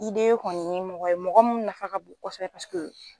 Ideye kɔni ye mɔgɔ ye mɔgɔ min nafa ka bon kosɛbɛ